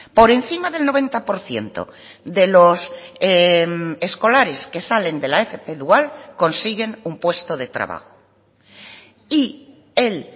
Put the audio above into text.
por encima del noventa por ciento de los escolares que salen de la fp dual consiguen un puesto de trabajo y el